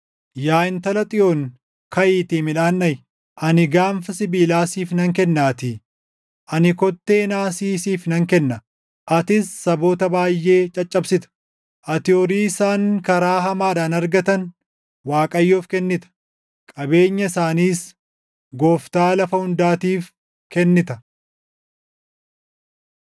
“Yaa Intala Xiyoon kaʼiitii midhaan dhaʼi; ani gaanfa sibiilaa siif nan kennaatii; ani kottee naasii siif nan kenna; atis saboota baayʼee caccabsita.” Ati horii isaan karaa hamaadhaan argatan Waaqayyoof kennita; qabeenya isaaniis Gooftaa lafa hundaatiif kennita.